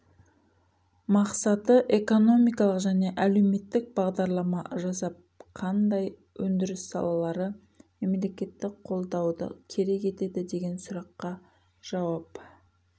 мақсаты экономикалық және әлеуметтік бағдарлама жасап қандай өндіріс салалары мемлекеттік қолдауды керек етеді деген сұраққа жауап